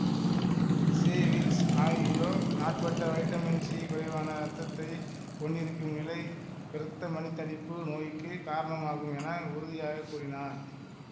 C Wills ஆகியோர் நாட்பட்ட vitamin C குறைவான இரத்தத்தைக் கொண்டிருக்கும் நிலை பெருத்தமனித் தடிப்பு நோய்க்குக் காரணமாகும் என உறுதியாக கூறுகின்றனர்